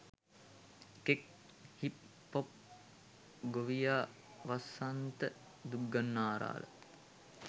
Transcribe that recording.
එකෙක් hip pop ගොවියා වසන්ත දුක්ගන්නාරාල